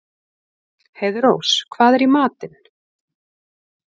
Heiðrós, hvað er í matinn?